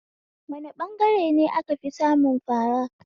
Wane ɓangare ne a kafi samun fara?